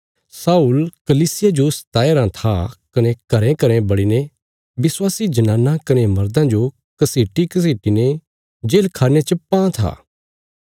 शाऊल कलीसिया जो सताया राँ था कने घरेंघरें बड़ीने विश्वासी जनाना कने मर्दां जो घसीटीघसीटी ने जेलखान्ने च पां था